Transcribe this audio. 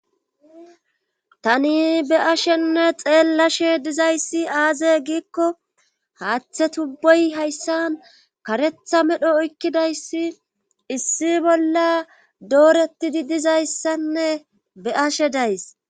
Tani be'ashenne xeellashe dizayssi aaze giikko haaththe tubboy hayssan karetha medho oykkidayssi issi bolla dooretidi dizayssanne be'ashe days.